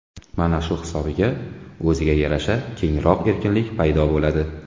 Mana shu hisobiga, o‘ziga yarasha kengroq erkinlik paydo bo‘ladi.